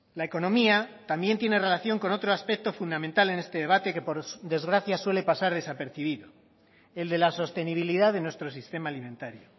la economía también tiene relación con otro aspecto fundamental en este debate que por desgracia suele pasar desapercibido el de la sostenibilidad de nuestro sistema alimentario